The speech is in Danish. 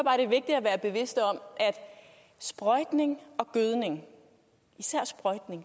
jeg er bevidst om at sprøjtning og gødning især sprøjtning